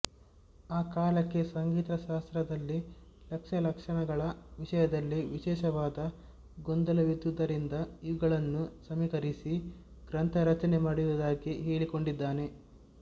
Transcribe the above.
ಆ ಕಾಲಕ್ಕೆ ಸಂಗೀತಶಾಸ್ತ್ರದಲ್ಲಿ ಲಕ್ಷ್ಯ ಲಕ್ಷಣಗಳ ವಿಷಯದಲ್ಲಿ ವಿಶೇಷವಾದ ಗೊಂದಲವಿದ್ದುದರಿಂದ ಇವುಗಳನ್ನು ಸಮೀಕರಿಸಿ ಗ್ರಂಥರಚನೆ ಮಾಡಿರುವುದಾಗಿ ಹೇಳಿಕೊಂಡಿದ್ದಾನೆ